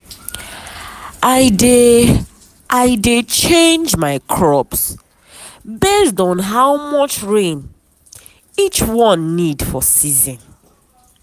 i dey i dey change my crops based on how much rain each one need for season.